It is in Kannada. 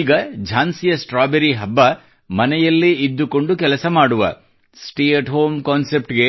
ಈಗ ಝಾನ್ಸಿಯ ಸ್ಟ್ರಾಬೆರಿ ಹಬ್ಬʼವು ಮನೆಯಲ್ಲೇ ಇದ್ದುಕೊಂಡು ಕೆಲಸ ಮಾಡುವʼ ಸಿದ್ಧಾಂತಕ್ಕೆ ಸ್ಟೇ ಅಟ್ ಹೋಮ್ ಕಾನ್ಸೆಪ್ಟ್ ಗೆ